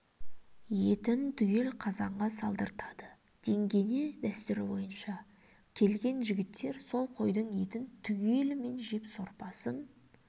етін түгел қазанға салдыртады деңгене дәстүрі бойынша келген жігіттер сол қойдың етін түгелімен жеп сорпасын